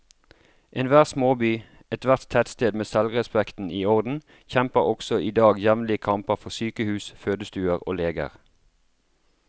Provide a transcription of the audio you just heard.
Enhver småby, ethvert tettsted med selvrespekten i orden, kjemper også i dag jevnlige kamper for sykehus, fødestuer og leger.